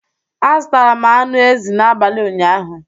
A zụtara m anụ ezi n'abalị ụnyaahụ.